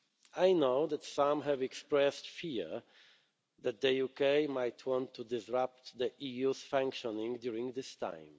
I know that some have expressed fear that the UK might want to disrupt the EU's functioning during this time.